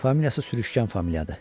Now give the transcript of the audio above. Familiyası sürüşkən familiyadır.